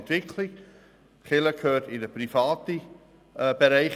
Die Kirche gehört in einen privaten Bereich.